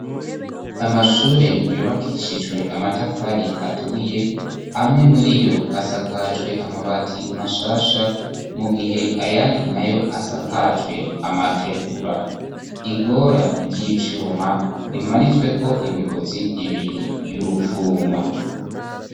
Amashure yubakishijwe amatafari aturiye, amwe muri yo asakajwe amabati mashasha, mu gihe ayandi na yo asakacwe amategura, igora ry'ivyuma rimanitsweko imigozi ibiri y'urufuma.